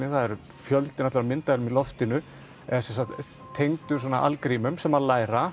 það er fjöldinn allir af myndavélum í loftinu er tengdur svona algrímum sem að læra